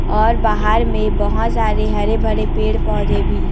और बाहर में बहोत सारे हरे भरे पेड़ पौधे भी--